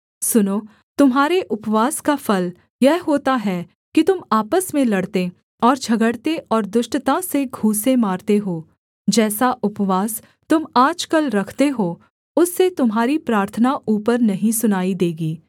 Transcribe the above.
सुनो तुम्हारे उपवास का फल यह होता है कि तुम आपस में लड़ते और झगड़ते और दुष्टता से घूँसे मारते हो जैसा उपवास तुम आजकल रखते हो उससे तुम्हारी प्रार्थना ऊपर नहीं सुनाई देगी